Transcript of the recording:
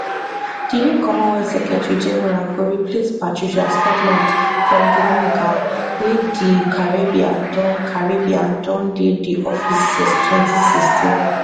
di new commonwealth secretary general go replace patricia scotland from dominica wey di caribbean don caribbean don dey di office since 2016